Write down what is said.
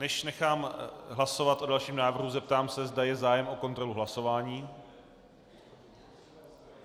Než nechám hlasovat o dalším návrhu, zeptám se, zda je zájem o kontrolu hlasování.